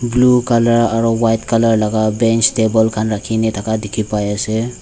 blue color aro white color laga bench table khan rakhina thaka dikhi pai ase.